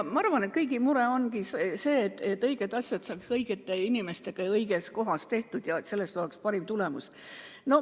Küllap kõigi mure ongi see, et õiged asjad saaksid õigete inimestega ja õiges kohas tehtud, siis on parim tulemus.